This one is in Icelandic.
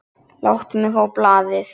Láttu mig fá blaðið!